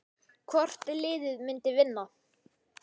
Hvort liðið myndi vinna?